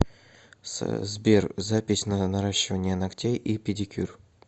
сбер запись на наращивание ногтей и педикюр